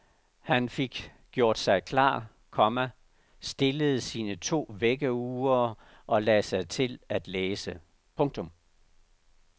Han fik gjort sig klar, komma stillede sine to vækkeure og lagde sig til at læse. punktum